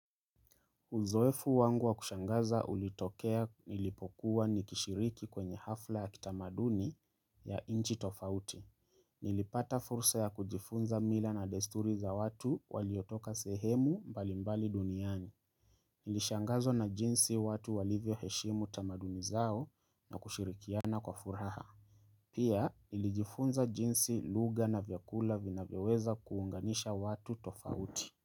Uzoefu wangu wa kushangaza ulitokea nilipokuwa nikishiriki kwenye hafla ya kitamaduni ya nchi tofauti. Nilipata fursa ya kujifunza mila na desturi za watu waliotoka sehemu mbali mbali duniani. Nilishangazwa na jinsi watu walivyo heshimu tamaduni zao na kushirikiana kwa furaha. Pia nilijifunza jinsi lugha na vyakula vinavyoweza kuunganisha watu tofauti.